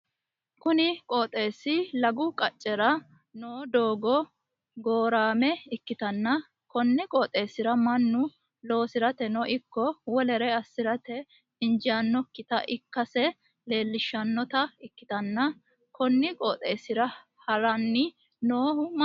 Kunni qooxeesi lagu qacera noo doogo goorame ikitanna konni qooxeesira Manu loosirateno iko wolera asirate injiitinokita ikase leelishanota ikitanna konni qooxeesira haranni noohu maati?